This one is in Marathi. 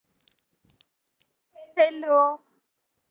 hello